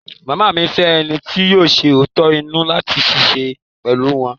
Ìyá mi fẹ́ ẹni ti yóò ṣẹ òótọ́ inú láti ṣiṣẹ́ pẹ̀lú wọ́n.